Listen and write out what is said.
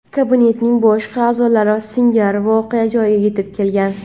kabinetning boshqa a’zolari singari voqea joyiga yetib kelgan.